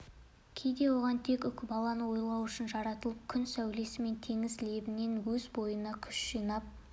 кейде оған тек үкібаланы ойлау үшін жаратылып күн сәулесі мен теңіз лебінен өз бойына күш жинап